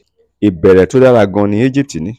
ìbẹ̀rẹ̀ tó dára gan-an ni íjíbítì ní.